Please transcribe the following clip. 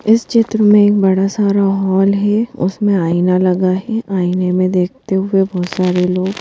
इस चित्र में एक बड़ा सारा हॉल है उसमें आईना लगा है आईने में देखते हुए बहुत सारे लोग--